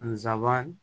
Nsaban